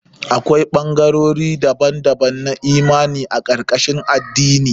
Akwai ɓangarori daban-daban na imani a karkashin addini.